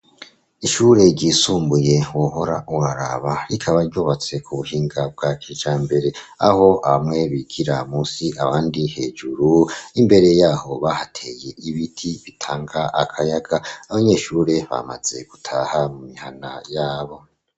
Ishure ryisumbuye wohora uraraba rikaba ryubatse ku buhinga bwa kijambere, aho bamwe bigira munsi, abandi hejuru. Imbere yaho bahateye ibiti bitanga akayaga. Abanyeshure bamaze gutaha mu mihana yabo.